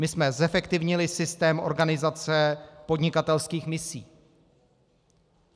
My jsme zefektivnili systém organizace podnikatelských misí.